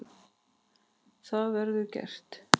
Það verður gert.